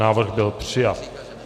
Návrh byl přijat.